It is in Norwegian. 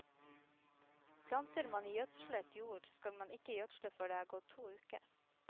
Planter man i gjødslet jord, skal man ikke gjødsle før det er gått to uker.